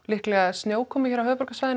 snjókomu á höfuðborgarsvæðinu